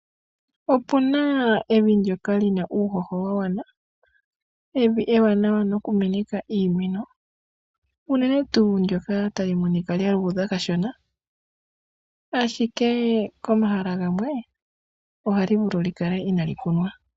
Opuna evi ndyoka lina uuhoho wagwana, evi ewanawa nokumeneka iimeno, unene tuu ndyoka hali monika lyaluudha kashona, ashike komahala gamwe ohali vulu okukala inali kunwa.